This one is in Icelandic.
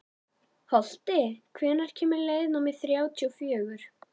Holti, hvenær kemur leið númer þrjátíu og fjögur?